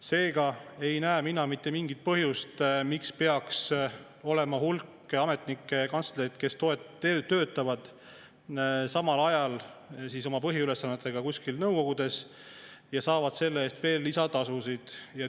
Seega ei näe mina mitte mingit põhjust, miks peaks olema hulk ametnikke, kantslereid, kes töötavad samal ajal oma põhiülesannetega kusagil nõukogudes ja saavad selle eest veel lisatasusid.